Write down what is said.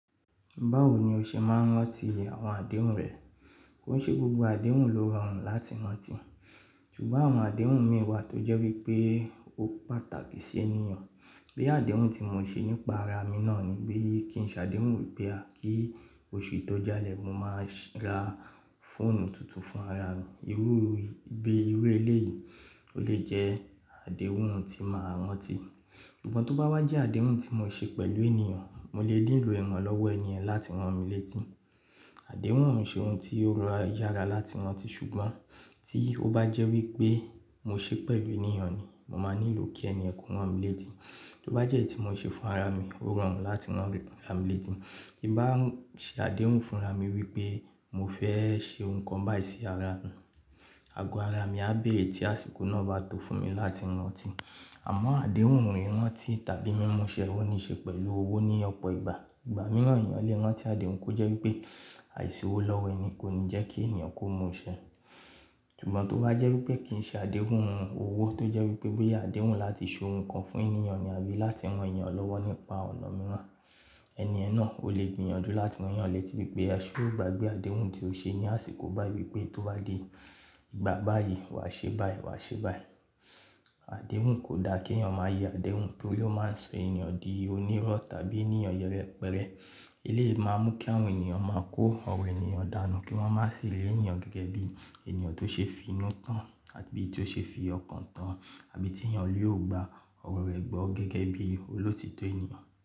Báwo ni o ṣe máa ń rántí àwọn àdéhùn rẹ? Ko n ṣe gbogbo àdéhùn lo rọrùn láti ranti, ṣugbọn ọrọ àdéhùn miin wa to jẹ wipe o pàtàkì siyan bí àdéhùn tí mo ṣe nípa ara mi náà ni wípé kí n ṣe àdéhùn bóyá kí oṣù tó jalè mo máa ra fóònù tuntun fún ara mi. Irú gé irú eléyìí ó lè jẹ́ àdéhùn tí màá rántí. Ṣùgbọ́n tó bá wá jẹ́ àdéhùn tí mo ṣe pẹ̀lú ènìyàn, mo lè nílò ìranlọ́wọ́ ènìyẹn láti rán mi létí. Àdéhùn ò ṣe ohun tí ó rọrùn yára láti rántí ṣùgbọ́n tí ó bá jẹ́ wípé mo ṣe pẹ̀lú ènìyàn ni mo máa nílò kí ènìyẹn kó rán mi létí. Tó bá jẹ́ èyí tí mo ṣe fún ara mi, ó rọrùn láti rán mi rán ra milétí. Tí bá ń ṣe àdéhùn fún ara mi wípé mo fẹ́ ṣe ohun kan báyìí sí ara mi, agọ ara mi á béèrè tí àsìkò náà bá tó fún mi láti rántí. Àmọ́ àdéhùn mìíràn tí tàbí mímúṣẹ́ o ní ṣe pẹ̀lú owó ní ọ̀pọ̀ ìgbà. Ìgbà mìíràn ènìyàn lè rántí àdéhùn kó jẹ́ wípé àìṣòwò lọ́wọ́ ẹni kò ní jẹ́ kí ènìyàn kó mú iṣẹ́. Ṣùgbọ́n tó bá jẹ́ wípé kì í ṣe àdéhùn owó tó jẹ́ wípé bóyá àdéhùn láti ṣe ohun kan fún ènìyàn ni àbí láti rán ènìyàn lọ́wọ́ nípa ọ̀nà mìíràn, ènìyàn náà ó lè gbìyànjú láti rán yàn létí wípé a ṣé o gbàgbé àdéhùn tí ó ṣe ní àsìkò báyìí pé tó bá di ìgbà báyìí, wàá ṣe báyìí, wàá ṣe báyìí. Àdéhùn kò da kí ènìyàn máa yẹ àdéhùn kí ó lè máa sọ ènìyàn di onírọ́ tàbí ènìyàn yẹrẹ pẹrẹ. Eléyìí máa ń mú kí àwọn ènìyàn máa kó ọ̀rọ̀ ènìyàn dànù kí wọ́n má sì rí ènìyàn gẹ́gẹ́ bí ènìyàn tó ṣe fi inú tán àbí tí ó ṣe fi ọkàn tán àbí tí ènìyàn yóò gba ọ̀rọ̀ rẹ̀ gbọ́ gẹ́gẹ́ bí olótítọ́ ènìyàn.